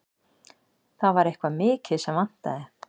Það var eitthvað mikið sem vantaði.